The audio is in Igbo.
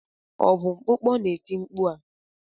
Ọ bụ mkpụkpọ na-eti mkpu a?